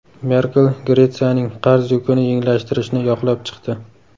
Merkel Gretsiyaning qarz yukini yengillashtirishni yoqlab chiqdi.